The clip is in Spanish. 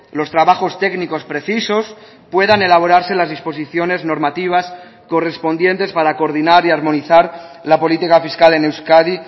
los trabajos técnicos precisos puedan elaborarse las disposiciones normativas correspondientes para coordinar y armonizar la política fiscal en euskadi